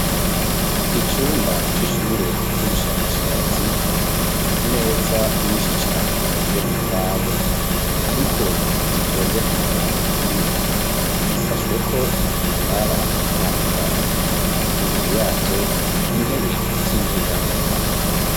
Icumba c'ishure ry'ubushakashatsi, imeza nyinshi cane zikozwe mu mbaho ariko zitonze ku murongo umwe. Zishashweko ibitambara bitandukanye; imbere yazo, intebe z'inyegamo.